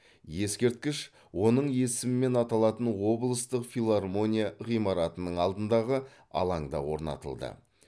ескерткіш оның есімімен аталатын облыстық филармония ғимаратының алдындағы алаңда орнатылды